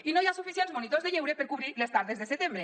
i no hi ha suficients monitors de lleure per cobrir les tardes de setembre